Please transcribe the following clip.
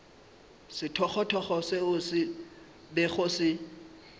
sethogothogo seo se bego se